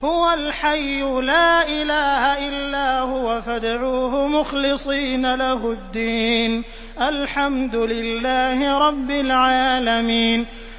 هُوَ الْحَيُّ لَا إِلَٰهَ إِلَّا هُوَ فَادْعُوهُ مُخْلِصِينَ لَهُ الدِّينَ ۗ الْحَمْدُ لِلَّهِ رَبِّ الْعَالَمِينَ